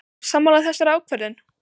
Ósammála þessari ákvörðun?